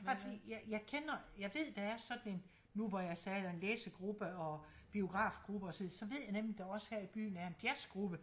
Bare fordi jeg jeg kender jeg ved der er sådan en nu hvor jeg sagde der var læsegruppe og biografgruppe og sådan så ved jeg nemlig der også her i byen er en jazzgruppe